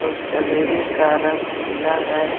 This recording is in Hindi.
उस जलेबी का रंग पीला है।